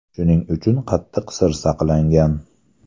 Shuning uchun qattiq sir saqlangan.